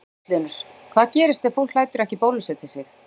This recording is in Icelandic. Magnús Hlynur: Hvað gerist ef fólk lætur ekki bólusetja sig?